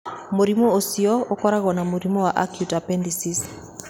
Mũrimũ ũcio ũkoragwo na mũrimũ wa acute appendicitis.